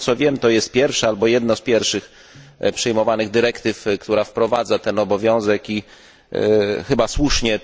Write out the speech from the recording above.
Z tego co wiem, jest to pierwsza, albo jedna z pierwszych przyjmowanych dyrektyw, która wprowadza ten obowiązek i chyba słusznie.